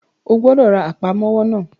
O gbọ́dọ̀ ra Àpámọ́wọ́ náà!